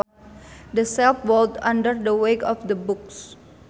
The shelf bowed under the weight of the books